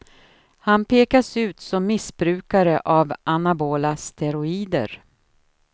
Han pekas ut som missbrukare av anabola steroider.